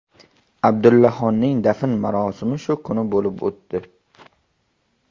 Abdullohning dafn marosimi shu kuni bo‘lib o‘tdi.